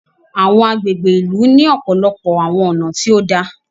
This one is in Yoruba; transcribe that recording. Awọn agbègbè ìlú ni ọpọlọpọ awọn ọna tí òdà